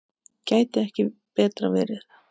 Gæti ekki betra verið.